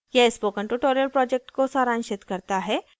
यह spoken tutorial project को सारांशित करता है